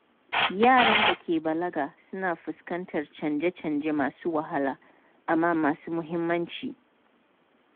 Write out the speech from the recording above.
Yaran da ke balaga suna fuskantar canje-canje masu wahala amma masu muhimmanci.